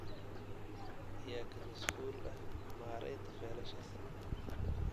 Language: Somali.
Yaa ka mas'uul ah maaraynta faylashaas?